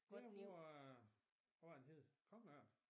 Der bor øh hvad var det den hed kongeørn